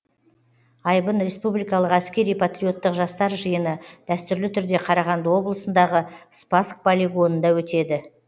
айбын республикалық әскери патриоттық жастар жиыны дәстүрлі түрде қарағанды облысындағы спасск полигонында өтеді